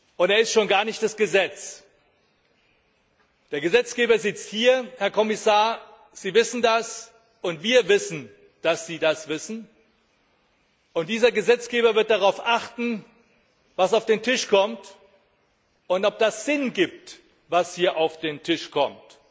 und er ist schon gar nicht das Gesetz! Der Gesetzgeber sitzt hier Herr Kommissar, Sie wissen das, und wir wissen, dass Sie das wissen, und dieser Gesetzgeber wird darauf achten, was auf den Tisch kommt, und ob das Sinn ergibt, was hier auf den Tisch kommt.